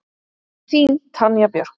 Þín, Tanja Björk.